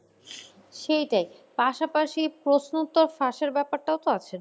সেইটাই। পাশাপাশি প্রশ্নোত্তর ফাঁসের ব্যাপারটাও তো আছে।